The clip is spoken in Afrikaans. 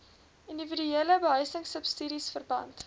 indiwiduele behuisingsubsidies verband